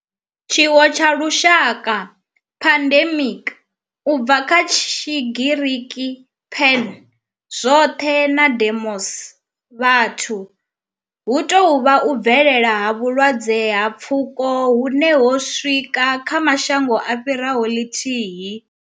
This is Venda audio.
Tshiwo tsha lushaka, pandemic, u bva kha Tshigiriki pan, zwothe na demos, vhathu, hu tou vha u bvelela ha vhulwadze ha pfuko hune ho swika kha mashango a fhiraho lithihi.